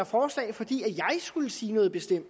forslag fordi jeg skulle sige noget bestemt